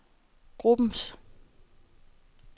gruppens